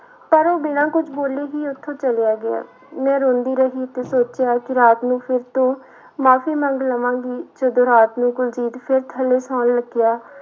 ਪਰ ਉਹ ਬਿਨਾਂ ਕੁੱਝ ਬੋਲੇ ਹੀ ਉੱਥੋਂ ਚਲਿਆ ਗਿਆ ਮੈਂ ਰੋਂਦੀ ਰਹੀ ਤੇ ਸੋਚਿਆ ਕਿ ਰਾਤ ਨੂੰ ਫਿਰ ਤੋਂ ਮਾਫ਼ੀ ਮੰਗ ਲਵਾਂਗੀ, ਜਦੋਂ ਰਾਤ ਨੂੰ ਕੁਲਜੀਤ ਫਿਰ ਥੱਲੇ ਸੌਣ ਲੱਗਿਆ,